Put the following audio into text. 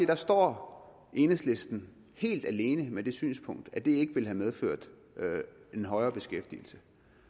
der står enhedslisten helt alene med det synspunkt at det ikke ville have medført en højere beskæftigelse